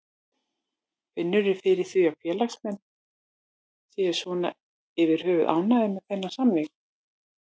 Finnurðu fyrir því að félagsmenn séu svona yfir höfuð ánægðir með þennan samning?